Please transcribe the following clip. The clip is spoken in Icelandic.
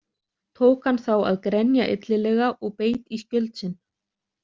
Tók hann þá að grenja illilega og beit í skjöld sinn.